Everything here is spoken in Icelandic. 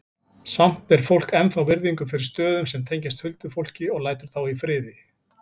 Samt ber fólk ennþá virðingu fyrir stöðum sem tengjast huldufólki og lætur þá í friði.